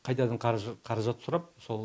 қайтадан қаражат сұрап сол